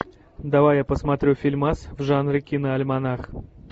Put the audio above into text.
давай я посмотрю фильмас в жанре киноальманах